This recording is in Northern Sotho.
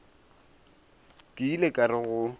ke ile ka re go